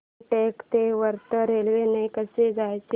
रामटेक ते वर्धा रेल्वे ने कसं जायचं